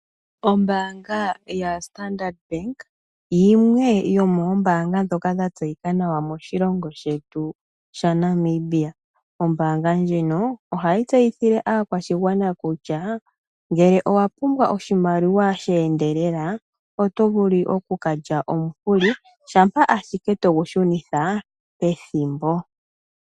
Ombaanga yaStandard Bank yimwe yomombaanga ndhoka dhatseyika nawa moshilongo shetu shaNamibia. Ombaanga ndjika ohayo tseyithile aakwashigwana kutya ngele owapumbwa oshimaliwa sheendelela, otovulu okukalya omukuli shampa ashike togu shunitha pethimbo.